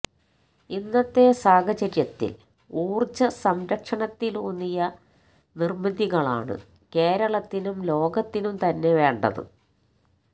ഇന്നത്തെ സാഹചര്യത്തില് ഊര്ജ്ജ സംരക്ഷണത്തിലൂന്നിയ നിര്മിതികളാണ് കേരളത്തിനും ലോകത്തിനും തന്നെ വേണ്ടത്